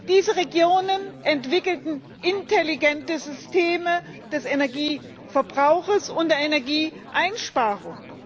Diese Regionen entwickelten intelligente Systeme des Energieverbrauchs und der Energieeinsparung.